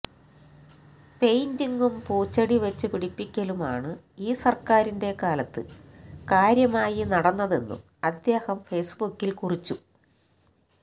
പെയിന്റിങ്ങും പൂച്ചെടി വച്ചു പിടിപ്പിക്കലുമാണ് ഈ സര്ക്കാരിന്റെ കാലത്ത് കാര്യമായി നടന്നതെന്നും അദ്ദേഹം ഫേസ്ബുക്കില് കുറിച്ചു